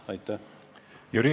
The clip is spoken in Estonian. Aitäh!